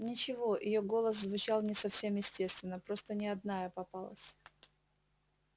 ничего её голос звучал не совсем естественно просто не одна я попалась